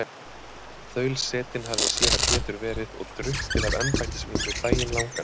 Þaulsetinn hafði séra Pétur verið og drukkið af embættisvíninu daginn langan.